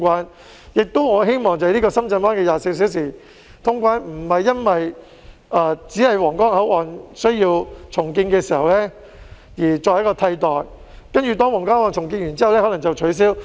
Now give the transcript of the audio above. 我亦希望深圳灣口岸24小時通關並非僅在皇崗口岸重建期間作為替代措施，重建完成後便予以取消。